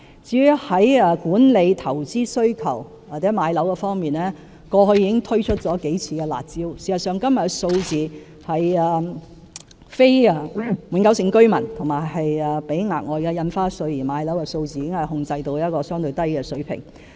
至於在管理投資需求或置業方面，過去已經推出了數次"辣招"，事實上，今天非永久性居民及須支付額外印花稅買樓的數字已控制在一個相對低的水平。